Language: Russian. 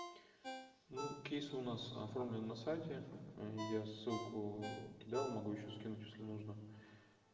ну кейсы у нас оформлены на сайте я ссылку кидал могу ещё скинуть если нужно